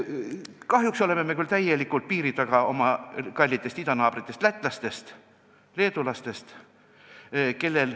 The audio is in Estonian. Kahjuks on meie kallid idanaabrid lätlased ja leedulased meiega võrreldes täiesti piiri taga.